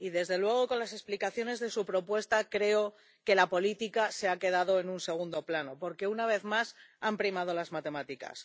Y desde luego con las explicaciones de su propuesta creo que la política se ha quedado en un segundo plano, porque, una vez más, han primado las matemáticas.